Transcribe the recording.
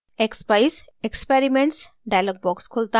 expeyes experiments dialog box खुलता है